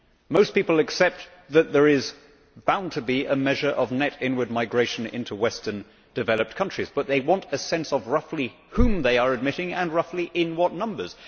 Most people accept that there is bound to be a measure of net inward migration into Western developed countries, but they want a sense of roughly whom they are admitting and roughly in what numbers.